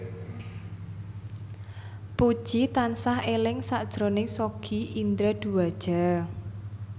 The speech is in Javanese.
Puji tansah eling sakjroning Sogi Indra Duaja